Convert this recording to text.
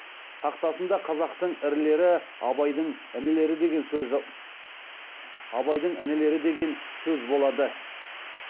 тақтасында қазақтың ірілері абайдың інілері деген сөз болады